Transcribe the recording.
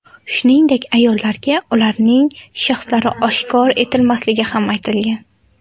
Shuningdek, ayollarga ularning shaxslari oshkor etilmasligi ham aytilgan.